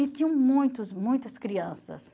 E tinham muitas, muitas crianças.